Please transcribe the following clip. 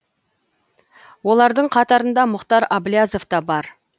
олардың қатарында мұхтар аблязов та бар